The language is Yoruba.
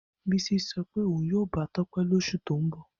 Bisi so pe oun yoo ba Tope losu to n bo.